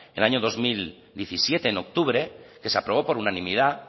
en el año dos mil diecisiete en octubre que se aprobó por unanimidad